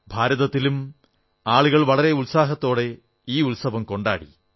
ഭാരതത്തിലും ജനങ്ങൾ വളരെ ഉത്സാഹത്തോടെ ഈ ഉത്സവം കൊണ്ടാടി